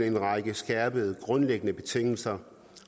en række skærpede grundlæggende betingelser